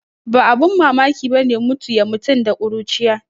Ba abin mamaki bane mutu ya mutum da kuruciya